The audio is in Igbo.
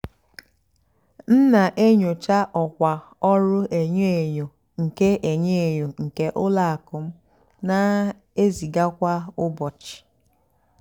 m nà-ènyócha ọ́kwá ọ́rụ́ ènyó ènyó nkè ènyó ènyó nkè ùlọ àkụ́ m nà-èzígá kwá ụ́bọ̀chị́.